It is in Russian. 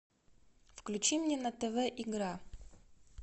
включи мне на тв игра